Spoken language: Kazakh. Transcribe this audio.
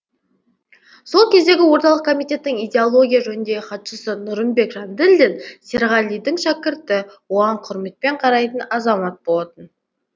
сол кездегі орталық комитеттің идеология жөніндегі хатшысы нұрымбек жанділдин серғалидың шәкірті оған құрметпен қарайтын азамат болатын